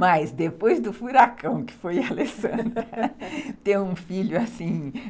Mas, depois do furacão que foi a Alessandra, ter um filho